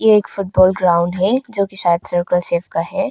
एक football ground है जो कि शायद सर्कुलर शेप है।